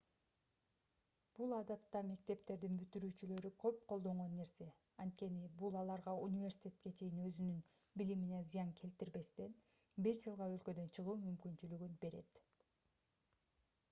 бул адатта мектептердин бүтүрүүчүлөрү көп колдонгон нерсе анткени бул аларга университетке чейин өзүнүн билимине зыян келтирбестен бир жылга өлкөдөн чыгуу мүмкүнчүлүгүн берет